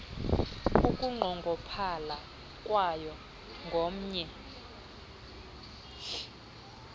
ukunqongophala kwayo ngomnye